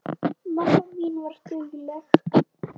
Mamma mín var dugleg.